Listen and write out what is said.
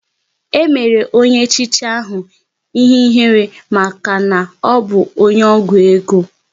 E mere onye echichi ahụ ihe ihere maka na ọbụ onye ọgwụ ego